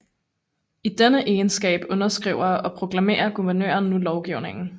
I denne egenskab underskriver og proklamerer guvernøren nu lovgivning